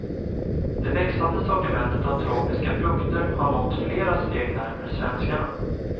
Det växande sortimentet av tropiska frukter har nått flera steg närmare svenskarna.